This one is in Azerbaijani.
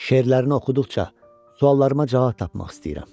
Şeirlərini oxuduqca, suallarıma cavab tapmaq istəyirəm.